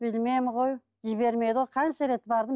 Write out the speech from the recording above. білмеймін ғой жібермеді ғой қанша рет бардым